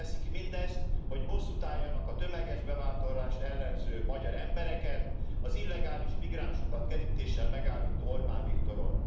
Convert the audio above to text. Azért teszik mindezt, hogy bosszút álljanak a tömeges bevándorlást ellenző magyar embereken, az illegális migránsokat kerítéssel megállító Orbán Viktoron.